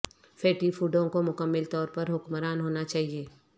fatty فوڈوں کو مکمل طور پر حکمران ہونا چاہئے